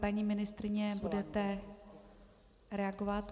Paní ministryně, budete reagovat?